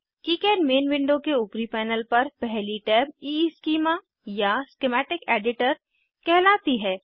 KiCad main window के ऊपरी panel पर पहली टैब ईस्कीमा या स्कीमेटिक एडिटर स्किमैटिक एडिटर कहलाती है